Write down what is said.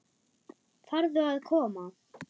Farðu að koma.